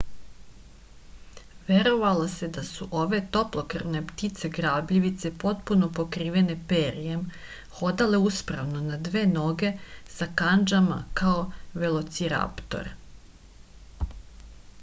verovalo se da su ove toplokrvne ptice grabljivice potpuno pokrivene perjem hodale uspravno na dve noge sa kandžama kao velociraptor